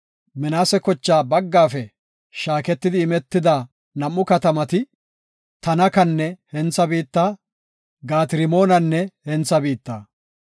Minaase kocha baggafe shaaketi imetida nam7u katamati, Tanakanne hentha biitta, Gaat-Rimoonanne hentha biitta.